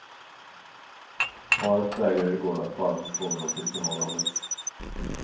Paret vägrade i går att svara på frågor om sitt förhållande.